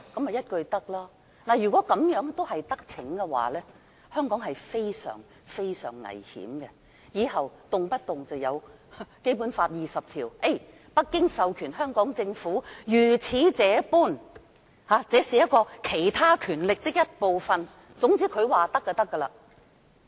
如果讓他得逞，香港將會非常危險，政府往後便可以動輒引用《基本法》第二十條，由北京政府授權香港政府如此這般，因為這是"其他權力"的一部分，總之他說可以便可以。